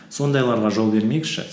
сондайларға жол бермейікші